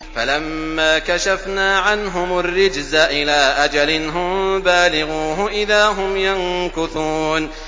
فَلَمَّا كَشَفْنَا عَنْهُمُ الرِّجْزَ إِلَىٰ أَجَلٍ هُم بَالِغُوهُ إِذَا هُمْ يَنكُثُونَ